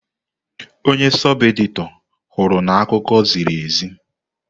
Onye sọb-edịtọr hụrụ n'akụkọ ziri ezi.